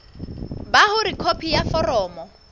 ba hore khopi ya foromo